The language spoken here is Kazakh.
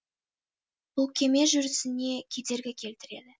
бұл кеме жүрісіне кедергі келтіреді